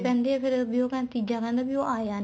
ਕਹਿੰਦੇ ਆ ਫ਼ਿਰ ਵੀ ਤੀਜਾਂ ਕਹਿੰਦਾ ਉਹ ਆਇਆ ਨਹੀਂ